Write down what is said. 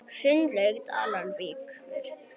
Sundlaug Dalvíkur